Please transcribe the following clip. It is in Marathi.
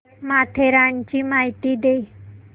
माथेरानची माहिती दे